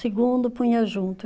Segundo, punha junto.